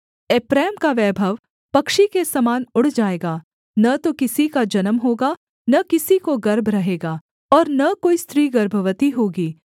एप्रैम का वैभव पक्षी के समान उड़ जाएगा न तो किसी का जन्म होगा न किसी को गर्भ रहेगा और न कोई स्त्री गर्भवती होगी